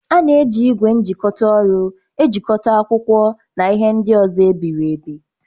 A na-eji ígwè njikota ọrụ ejikọta akwụkwọ na ihe ndị ọzọ e biri ebi.